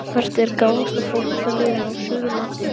Hvert er gáfaðasta fótboltaliðið á Suðurlandi?